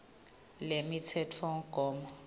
lemitsetfomgomo